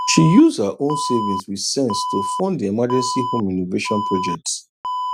she use her own savings with sense to fund the emergency home renovation project